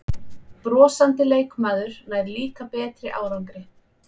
Brosandi leikmaður nær líka betri árangri